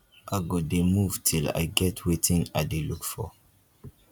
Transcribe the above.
i go dey move till i get wetin i dey look for